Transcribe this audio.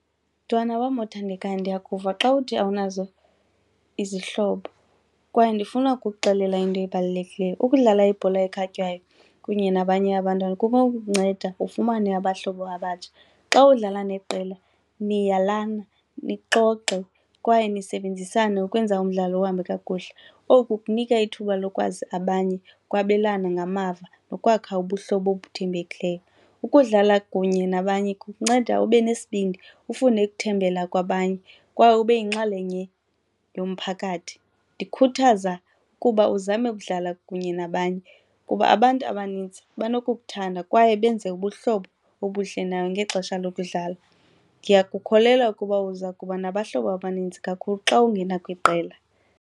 Mntwana wam othandekayo, ndiyakuva xa uthi awunazo izihlobo kwaye ndifuna ukukuxelela into ebalulekileyo, ukudlala ibhola ekhatywayo kunye nabanye abantwana kunokukunceda ufumane abahlobo abatsha. Xa udlala neqela niyalana, nixoxe kwaye nisebenzisane ukwenza umdlalo uhambe kakuhle, oku kunika ithuba lokwazi abanye, ukwabelana ngamava nokwakha ubuhlobo obuthembelekileyo. Ukudlala kunye nabanye kukunceda ube nesibindi ufune ukuthembela kwabanye kwaye ube yinxalenye yomphakathi. Ndikhuthaza ukuba uzame ukudlala kunye nabanye kuba abantu abanintsi banokukuthanda kwaye benze ubuhlobo obuhle nayo ngexesha lokudlala. Ndiyakukholelwa ukuba uza kuba nabahlobo abaninzi kakhulu xa ungena kwiqela,